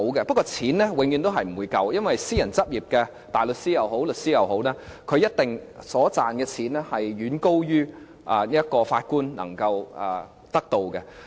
不過金錢永遠都是不足的，因為私人執業大律師也好，律師也好，他們賺的錢一定遠高於法官能夠得到的。